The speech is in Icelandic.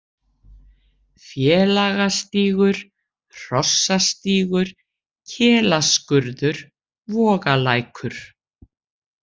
Félagastígur, Hrossastígur, Kelaskurður, Vogalækur